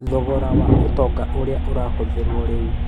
Thogora wa ũtonga ũrĩa ũrahũthĩrwo rĩu.